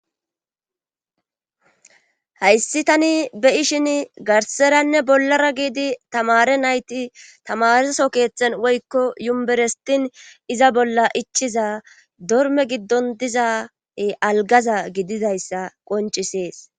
hayssi tani be'ishin garseranne bollara giidi tamare nayti tamareso keeththen woykko yumberestin iza bolla ichiza dorme giddon diza algaza gididayssa qoncisees